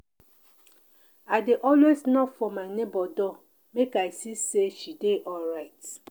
i dey always knock for my nebor door make i see sey she dey alright.